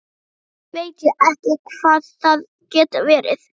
Samt veit ég ekki hvað það getur verið.